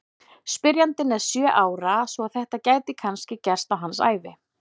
Spyrjandinn er sjö ára svo að þetta gæti kannski gerst á hans ævi!